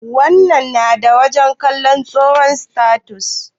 Whatsapp na da wajen kalon hoton status.